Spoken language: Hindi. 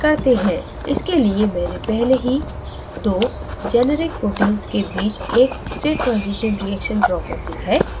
इसके लिए मैंने पहले ही 2 generic proteins के बीच एक state transition reaction ड्रा कर ली है